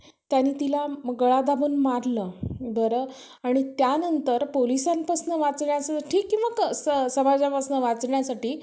त्याने तिला गळा दाबून मारलं. बरं आणि त्यांनतर पोलिसांपासून वाचण्याचं समाजापासनं वाचण्यासाठी